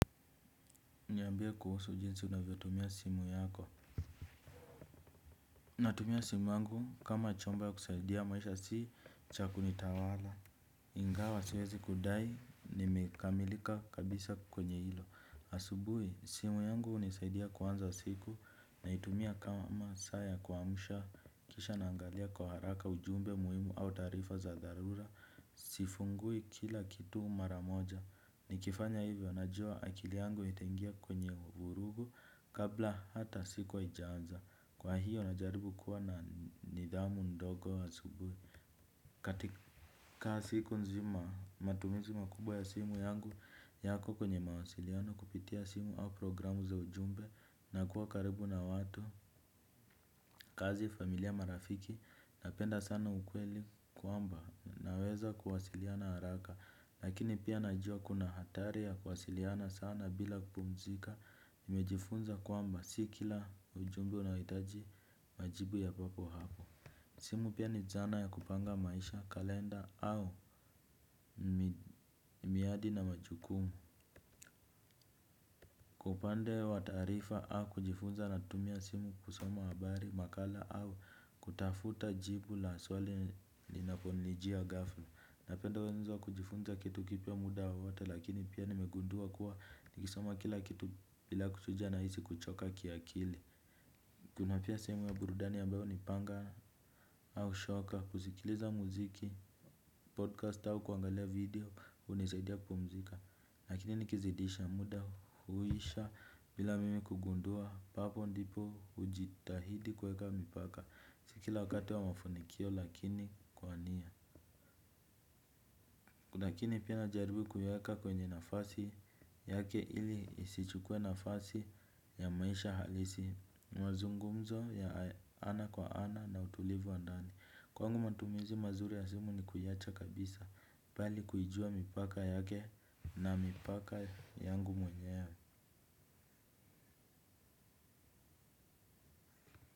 Niambia kuhusu jinsi unavyotumia simu yako. Natumia simu yangu, kama chombo ya kusaidia maisha si cha kuni tawala. Ingawa siwezi kudai, nimekamilika kabisa kwenye ilo. Asubuhi, simu yangu unisaidia kuanza siku, naitumia kama saa ya kuamsha. Kisha naangalia kwa haraka ujumbe muhimu au taarifa za dharura. Sifungui kila kitu mara moja. Nikifanya hivyo, najua akili yangu itaingia kwenye vurugu kabla hata siku haijaanza. Kwa hiyo, najaribu kuwa na nidhamu ndogo asubuhi. Katika siku nzima matumizi makubwa ya simu yangu, yako kwenye mawasiliano kupitia simu au programu za ujumbe, na kuwa karibu na watu, kazi, familia, marafiki. Napenda sana ukweli kwamba naweza kuwasiliana haraka. Lakini pia najua kuna hatari ya kuwasiliana sana bila kupumzika. Nimejifunza kwamba si kila ujumbe unahitaji majibu ya papo hapo. Simu pia ni zana ya kupanga maisha, kalenda au miadi na majukumu. Kwa upande wa taarifa au kujifunza natumia simu kusoma habari, makala au kutafuta jibu la swali linaponijia ghafla. Napenda wenzo kujifunza kitu kipya muda wowote lakini pia nimegundua kuwa nikisoma kila kitu bila kuchuja nahisi kuchoka kiakili. Kuna pia sehemu ya burudani ambayo ni panga au shoka kuzikiliza muziki, "podcast" au kuangalia "video" unisaidia kupumzika. Lakini nikizidisha muda, huisha bila mimi kugundua, papo ndipo ujitahidi kuweka mipaka, si kila wakati wa mafunikio lakini kwa nia. Lakini pia najaribu kuiweka kwenye nafasi yake ili isichukue nafasi ya maisha halisi, mazungumzo ya ana kwa ana na utulivu wa ndani. Kwangu matumizi mazuri ya simu ni kuiwacha kabisa bali kujua mipaka yake na mipaka yangu mwenyewe.